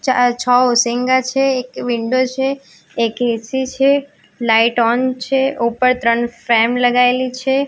ચાર છો છે એક વિન્ડો છે એક એ_સી છે લાઈટ ઓન છે ઉપર ત્રણ ફ્રેમ લગાઇલી છે.